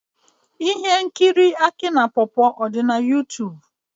Ihe nkiri aki na pawpaw adi na Youtube?